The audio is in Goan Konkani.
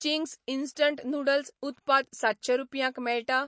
चिंग्स इंस्टंट नूडल्स उत्पाद सातशें रुपयांक मेळटा?